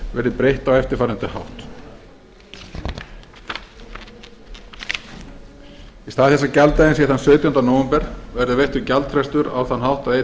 verði breytt á eftirfarandi hátt í stað þess að gjalddaginn sé sautjánda nóvember verði veittur gjaldfrestur á þann